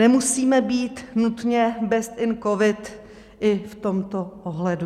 Nemusíme být nutně best in covid i v tomto ohledu.